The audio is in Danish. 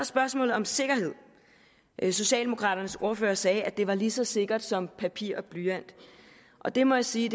spørgsmålet om sikkerhed socialdemokraternes ordfører sagde at det var lige så sikkert som papir og blyant og det må jeg sige